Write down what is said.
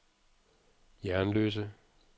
Jernløse